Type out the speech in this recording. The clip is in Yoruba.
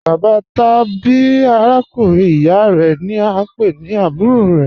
Bàbạ́ tàbí àràkùnrin ìyá rẹ ni a ń pẹ̀ ní àbúrò rẹ.